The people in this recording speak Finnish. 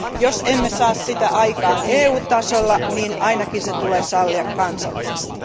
Jos emme saa sitä aikaan EU tasolla, niin ainakin se tulee sallia kansallisesti.